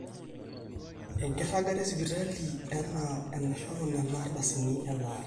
enkiragata esipitali enaa enaishoru nena ardasini elaare